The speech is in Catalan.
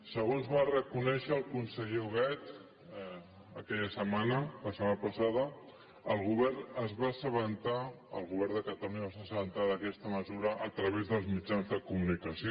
segons va reconèixer el conseller huguet aquella setmana la setmana passada el govern es va assabentar el govern de catalunya es va assabentar d’aquesta mesura a través dels mitjans de comunicació